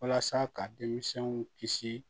Walasa ka denmisɛnw kisi